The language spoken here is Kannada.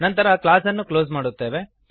ನಂತರ ಕ್ಲಾಸ್ ಅನ್ನು ಕ್ಲೋಸ್ ಮಾಡುತ್ತೇವೆ